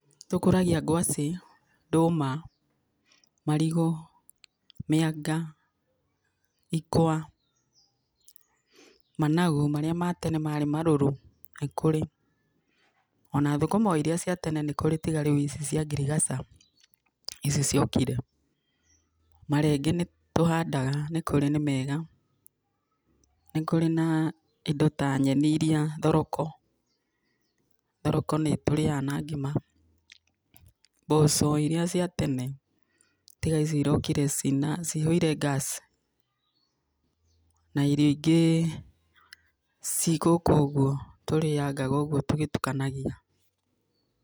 NĨ tukũragia ngwacĩ, ndũma, marigũ, mĩanga, ikwa, managu marĩa matene marĩ marũrũ nĩ kũrĩ. Ona thũkũma o iria cia tene nĩ kũrĩ tiga rĩu ici cia ngirigaca ici ciokire,.Marenge nĩ tũhandaga nĩ kũrĩ nĩ mega. Nĩ kũrĩ na indo ta nyeni iria thoroko, thoroko nĩ tũrĩaga na ngima. Mboco iria cia tene tiga ici irokire cihũire gas,.Na irio ingĩ cigũkũ ũgũo tũriangaga uguo tũgĩtukanagia.